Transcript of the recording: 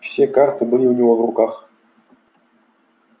все карты были у него в руках